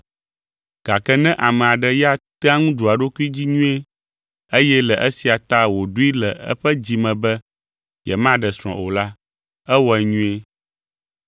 Gake ne ame aɖe ya tea ŋu ɖua eɖokui dzi nyuie, eye le esia ta wòɖoe le eƒe dzi me be yemaɖe srɔ̃ o la, ewɔe nyuie.